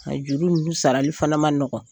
A juru ninnu sarali fana man nɔgɔn.